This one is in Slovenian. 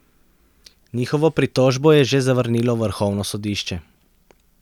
Njihovo pritožbo je že zavrnilo vrhovno sodišče.